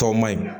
Tɔw ma ɲi